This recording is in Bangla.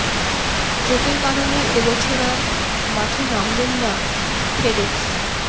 চোটের কারণে এই বছর আর মঠে নামবেন না ফেডেক্স